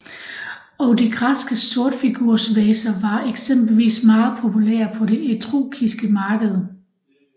Og de græske sortfigursvaser var eksempelvis meget populære på det etruskiske marked